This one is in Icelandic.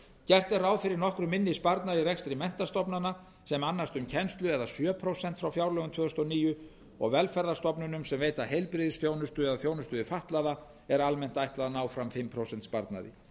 gert er ráð fyrir nokkru minni sparnaði í rekstri menntastofnana sem annast um kennslu eða sjö prósent frá fjárlögum tvö þúsund og níu og velferðarstofnunum sem veita heilbrigðisþjónustu eða þjónustu við fatlaða er almennt ætlað að ná fram fimm prósent sparnaði